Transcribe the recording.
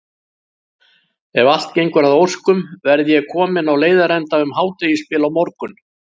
Ef allt gengur að óskum verð ég kominn á leiðarenda um hádegisbil á morgun.